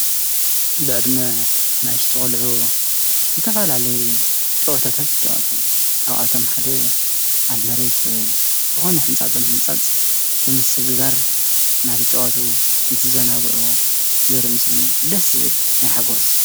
ብዕድመ ኣናእሽተይ ቆልዑ ዝተፈላለዩ ጨዋታታት ይጫወቱ ካብኣቶም ሓደ ኣብ መሬት ዝኾነ ሕንፃፅ ብምሕንፃፅ ብምስግጋር እናተጫወቱ እንትዘናግዑ ዘርኢ ምስሊ እዩ ደስ ዝብል ናይ ሓጎስ!